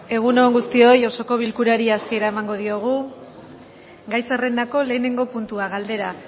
egun on guztioi osoko bilkurari hasiera emango diogu gai zerrendako lehenengo puntua galdera